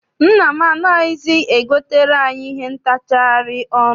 Nne m anaghịzi e gotere anyị ihe ntachari ọnụ.